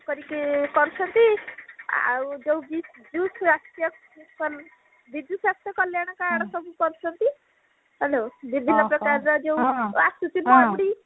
କରିକି କରୁଛନ୍ତି ଆଉ ଯୋଉ ଯୋଉ ବିଜୁ ସାସ୍ଥ୍ୟ ବିଜୁ ସାସ୍ଥ୍ୟ କଲ୍ଯାଣ card କରୁଛନ୍ତି hello ବିଭିନ୍ନ ପ୍ରକାରର ଯୋଉ ଆସୁଛି ମରୁଡି